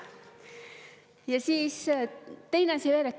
Ja teine asi veel.